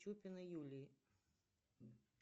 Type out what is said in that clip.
чупиной юлии